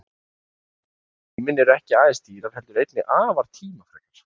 Ferðir um geiminn eru ekki aðeins dýrar heldur einnig afar tímafrekar.